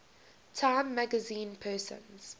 time magazine persons